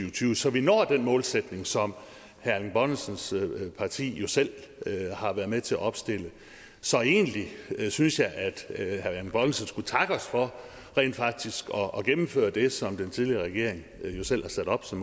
og tyve så vi når den målsætning som herre erling bonnesens parti jo selv har været med til at opstille så egentlig synes jeg at herre erling bonnesen skulle takke os for rent faktisk at gennemføre det som den tidligere regering selv har sat op som